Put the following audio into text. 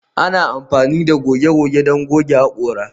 Ana amfani da goge goge don goge haƙora